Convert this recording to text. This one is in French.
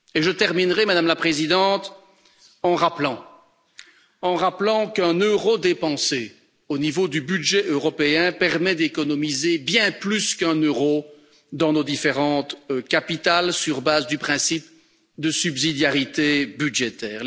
Et je terminerai, Madame la Présidente, en rappelant qu'un euro dépensé au niveau du budget européen permet d'économiser bien plus qu'un euro dans nos différentes capitales, sur base du principe de subsidiarité budgétaire.